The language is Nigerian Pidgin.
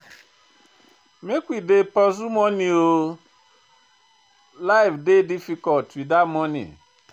Make we dey pursue moni o, life dey difficult witout moni.